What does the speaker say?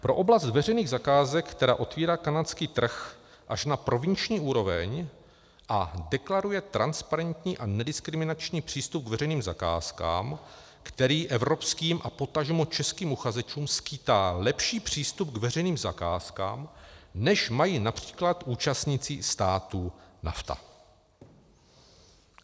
Pro oblast veřejných zakázek, která otevírá kanadský trh až na provinční úroveň a deklaruje transparentní a nediskriminační přístup k veřejným zakázkám, který evropským a potažmo českým uchazečům skýtá lepší přístup k veřejným zakázkám, než mají například účastníci států NAFTA.